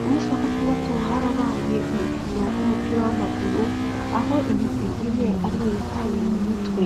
Ku musi wa gatandatu harabaye urukino rw'umupira w'amaguru, aho imigwi ine ariyo yatanye mu mitwe.